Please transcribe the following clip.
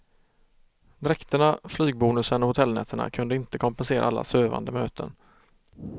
Dräkterna, flygbonusen och hotellnätterna kunde inte kompensera alla sövande möten.